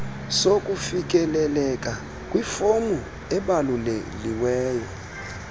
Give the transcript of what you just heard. sokufikeleleka kwifomu ebaluliweyo